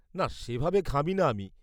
না, সে ভাবে ঘামি না আমি।